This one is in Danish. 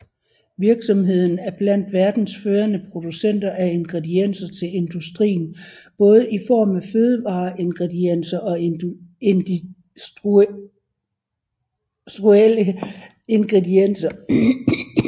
Virksomheden er blandt verdens førende producenter af ingredienser til industrien både i form af fødevareingredienser og industrielle ingredienser